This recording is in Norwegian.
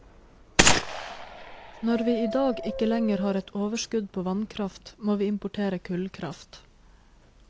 Når vi i dag ikke lenger har et overskudd på vannkraft, må vi importere kullkraft.